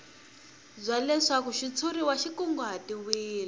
bya leswaku xitshuriwa xi kunguhatiwile